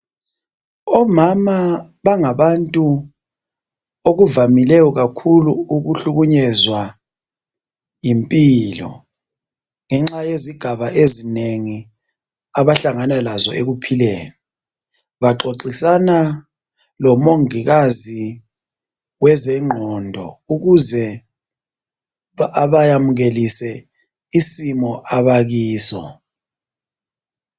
Omama bangabantu okuvamileyo kakhulu ukuhlukunyezwa yimpilo ngenxa yezigaba ezinengi abahlangana lazo ekuphileni baxoxisana lomongikazi wezengqondo ukuze abayamukelise isimo abakiso